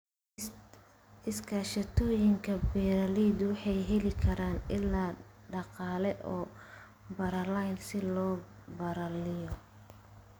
Iskaashatooyinka beeralaydu waxay heli karaan ilo dhaqaale oo ballaaran si loo ballaariyo.